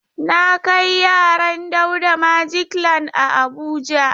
Na kai yaran Dauda Magic land a Abuja.